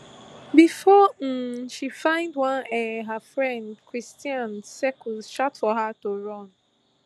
bifor um she find one um her friend cristhian cercos shout for her to run